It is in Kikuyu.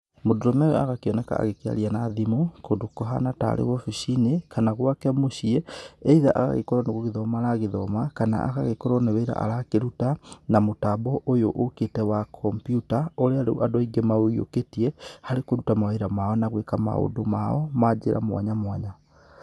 Mũndũrũme ũyũ agagĩkĩoneka agĩkĩaria na thimũ, kũndũ kũhana tarĩ wabici-inĩ, kana gũake mũciĩ, either agagĩkorũo nĩ gũgĩthoma aragĩthoma, kana agagĩkorũo nĩ wĩra arakĩruta, na mũtambo ũyũ ũkĩte wa kompyuta, ũrĩa rĩu andũ aingĩ maũyũkĩtie, harĩ kũruta mawĩra mao na gwĩka maũndũ mao, ma njĩra mwanya mwanya.